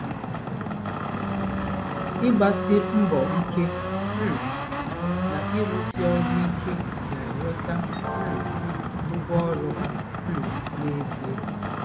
Ịgbasi mbọ ike um na ịrụsi ọrụ ike ga-enweta um ụgwọ ọrụ ha um n'ezie.